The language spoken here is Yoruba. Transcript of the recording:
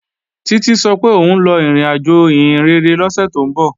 Títí sọ pé òun lọ ìrìnàjò ìhìnrere lọ́sẹ̀ tó ń bọ̀